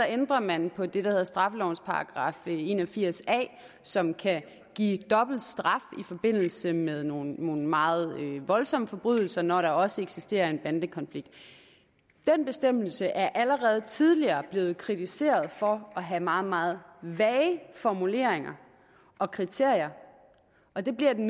ændrer man på det der hedder straffelovens § en og firs a som kan give dobbelt straf i forbindelse med nogle meget voldsomme forbrydelser når der også eksisterer en bandekonflikt den bestemmelse er allerede tidligere blevet kritiseret for at have meget meget vage formuleringer og kriterier og det bliver den